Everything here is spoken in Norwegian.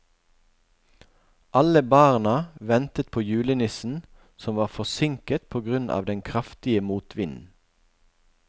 Alle barna ventet på julenissen, som var forsinket på grunn av den kraftige motvinden.